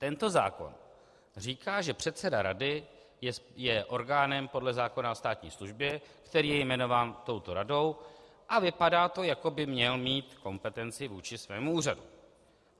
Tento zákon říká, že předseda rady je orgánem podle zákona o státní službě, který je jmenován touto radou, a vypadá to, jako by měl mít kompetenci vůči svému úřadu.